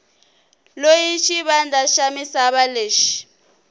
loyi xivandla xa misava lexi